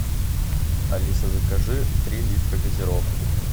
алиса закажи три литра газировки